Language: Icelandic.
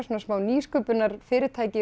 smá nýsköpunarfyrirtæki